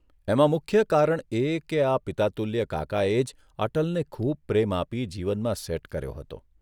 એમાં મુખ્ય કારણ એ કે આ પિતાતુલ્ય કાકાએ જ અટલને ખુબ પ્રેમ આપી જીવનમાં સેટ કર્યો હતો.